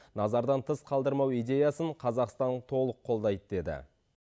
назардан тыс қалдырмау идеясын қазақстан толық қолдайды деді